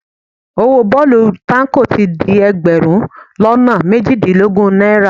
Owó bọ́ọ̀lù táǹkò ti di ẹgbẹ̀rún lọ́nà méjìdínlógún náírà